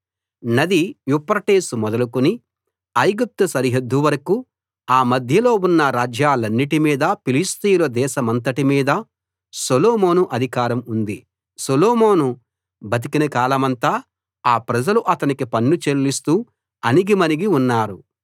నది యూఫ్రటీసు మొదలుకుని ఐగుప్తు సరిహద్దు వరకూ ఆ మధ్యలో ఉన్న రాజ్యాలన్నిటి మీదా ఫిలిష్తీయుల దేశమంతటి మీదా సొలొమోను అధికారం ఉంది సొలొమోను బతికిన కాలమంతా ఆ ప్రజలు అతనికి పన్ను చెల్లిస్తూ అణిగిమణిగి ఉన్నారు